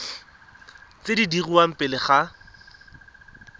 tse di dirwang pele ga